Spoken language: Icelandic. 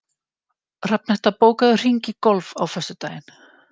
Hrafnhetta, bókaðu hring í golf á föstudaginn.